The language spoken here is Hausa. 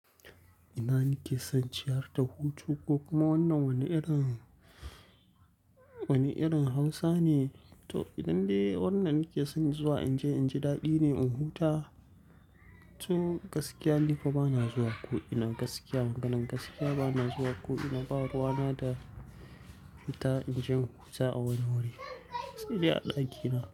Ina nake son ciyar da hutu ko kuma wannan wani irin Hausa ne. To idan dai wannan nake son zuwa in je, in ji daɗi ne in huta. To gaskiya ni kuma bana zuwa ko ina gaskiya. Maganan gaskiya bana zuwa ko ina, ba ruwa na da fita in je in huta a wani wuri. Sai dai a ɗakina.